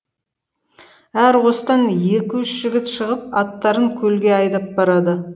әр қостан екі үш жігіт шығып аттарын көлге айдап барады